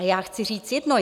A já chci říct jedno.